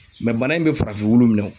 bana in bɛ farafin wulu minɛ